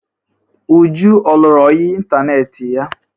Uju ọ lụrụ ọyị ịntaneetị ya?